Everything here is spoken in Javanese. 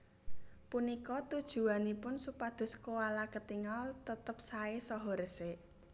Punika tujuwanipun supados koala ketingal tetep saé saha resik